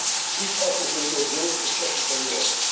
This offers a real growth prospective for Europe.